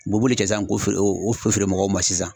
U b'o b'olu kɛ sisan k'o o feere o feere mɔgɔw ma sisan